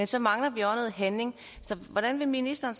så mangler noget handling så hvordan vil ministeren